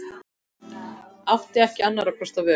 Átti ekki annarra kosta völ.